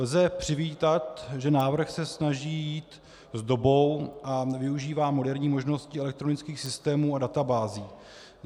Lze přivítat, že návrh se snaží jít s dobou a využívá moderní možnosti elektronických systémů a databází.